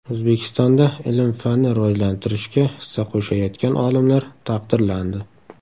O‘zbekistonda ilm-fanni rivojlantirishga hissa qo‘shayotgan olimlar taqdirlandi.